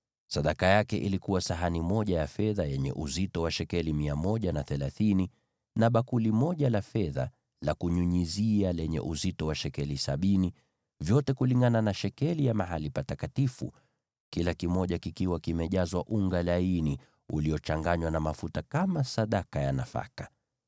Sadaka aliyoleta ilikuwa sahani moja ya fedha yenye uzito wa shekeli 130, na bakuli moja la fedha la kunyunyizia lenye uzito wa shekeli sabini, vyote kulingana na shekeli ya mahali patakatifu, vikiwa vimejazwa unga laini uliochanganywa na mafuta kama sadaka ya nafaka;